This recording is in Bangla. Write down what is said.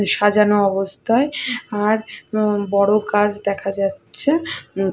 সাঁজানো অবস্থায় আর অ্যা বড় কাজ দেখা যাচ্ছে।